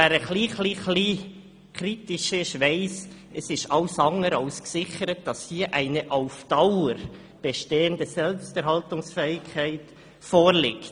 Wer ein bisschen kritisch ist, weiss, dass deren wirtschaftliche Eigenständigkeit alles andere als gesichert ist, dass keine auf Dauer bestehende Selbsterhaltungsfähigkeit vorliegt.